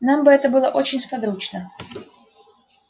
нам бы это было очень сподручно